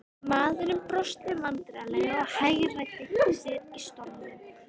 Maðurinn brosti vandræðalega og hagræddi sér í stólnum.